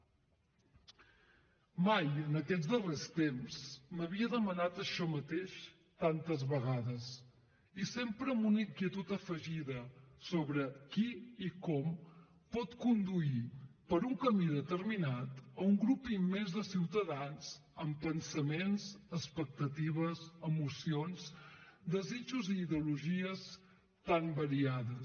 mai en aquests darrers temps m’havia demanat això mateix tantes vegades i sempre amb una inquietud afegida sobre qui i com pot conduir per un camí determinat un grup immens de ciutadans amb pensaments expectatives emocions desitjos i ideologies tan variades